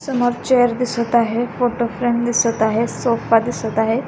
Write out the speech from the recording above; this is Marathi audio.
समोर चेअर दिसत आहे फोटो फ्रेम दिसत आहे सोफा दिसत आहे.